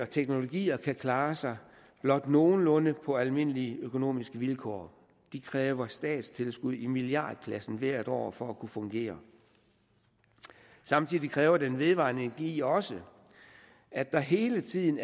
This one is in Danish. teknologier kan klare sig blot nogenlunde på almindelige økonomiske vilkår de kræver statstilskud i milliardklassen hvert år for at kunne fungere samtidig kræver den vedvarende energi også at der hele tiden